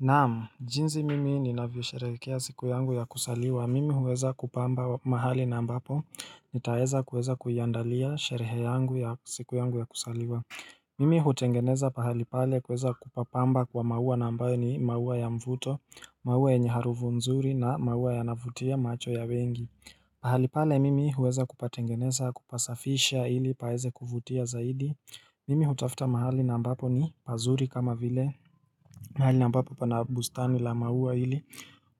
Naam, jinsi mimi ni navyosherehekea siku yangu ya kusaliwa. Mimi huweza kupamba mahali na ambapo nitaweza kuweza kuyandalia sherehe yangu ya siku yangu ya kusaliwa. Mimi hutengeneza pahali pale kuweza kupapamba kwa maua nambayo ni maua ya mvuto, maua yenye harufu nzuri na maua yanayo vutia macho ya wengi. Pahali pale mimi huweza kupatengeneza kupasafisha ili paeze kuvutia zaidi. Mimi hutafuta mahali na ambapo ni pazuli kama vile. Na hali nabapo panabustani lama hua hili